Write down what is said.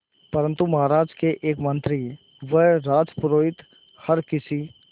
परंतु महाराज के एक मंत्री व राजपुरोहित हर किसी